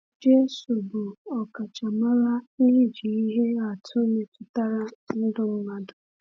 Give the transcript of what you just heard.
Jésù bụ ọkachamara n’iji ihe atụ metụtara ndụ mmadụ.